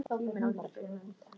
Á ég ekki annars að geyma merkin?